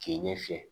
K'i ɲɛ fɛ